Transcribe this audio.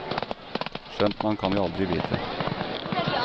Skjønt man kan jo aldri vite.